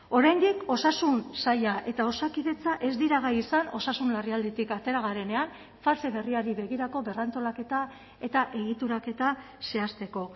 oraindik osasun saila eta osakidetza ez dira gai izan osasun larrialditik atera garenean fase berriari begirako berrantolaketa eta egituraketa zehazteko